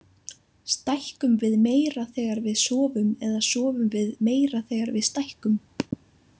Stækkum við meira þegar við sofum eða sofum við meira þegar við stækkum?